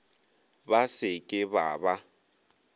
ba se ke ba ba